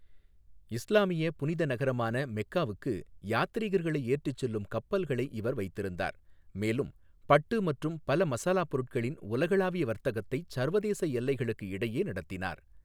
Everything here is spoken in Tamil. இஸ்லாமிய புனித நகரமான மெக்காவுக்கு யாத்ரீகர்களை ஏற்றிச் செல்லும் கப்பல்களை இவர் வைத்திருந்தார், மேலும் பட்டு மற்றும் பல மசாலாப் பொருட்களின் உலகளாவிய வர்த்தகத்தைச் சர்வதேச எல்லைகளுக்கு இடையே நடத்தினார்.